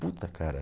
Puta, cara,